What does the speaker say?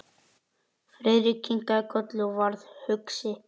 Friðrik kinkaði kolli og varð hugsi.